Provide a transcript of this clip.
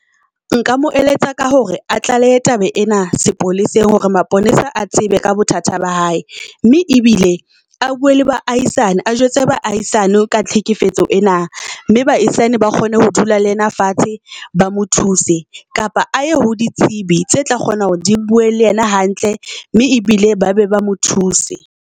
Nka mo eletsa ka hore a tlaleha taba ena sepoleseng. Hore maponesa a tsebe ka bothata ba hae, mme ebile a bue le baahisane a jwetse baahisane ka tlhekefetso ena. Mme bahaisane ba kgone ho dula le yena fatshe, ba mo thuse. Kapa aye ho ditsebi tse tla kgona hore di bue le yena hantle mme ebile ba be ba mo thuse.